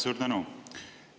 Suur tänu!